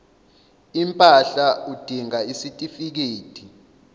impahla udinga isitifikedi